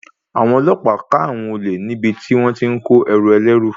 Àwọn ọlọ́pàá ká àwọn olè níbi tí wón ti ń kó ẹrù ẹlẹ́rú.